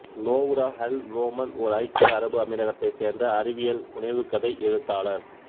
நோவ்ரா Al Noman ஓர் ஐக்கிய அரபு அமீரகத்தை சேர்ந்த அறிவியல் புனைவு கதை எழுத்தாளர்